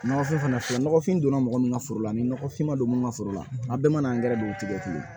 Nɔgɔfin fana filɛ nɔgɔfin donna mɔgɔ min ka foro la ni nɔgɔfin ma don mun ka foro la a bɛɛ mana an gɛrɛ don o tigi kelen na